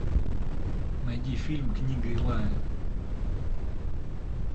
найди фильм книга илая